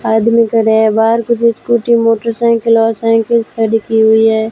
आदमी खड़े हैं बाहर कुछ स्कूटी मोटरसाइकिल और साइकिल्स खड़ी की हुई है।